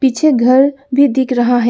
पीछे घर भी दिख रहा है।